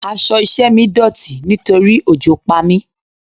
Aṣọ iṣẹ́ mi dọ̀tí nítorí òjò pa mi.